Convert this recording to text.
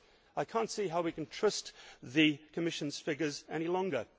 I cannot see how we can trust the Commission's figures any longer.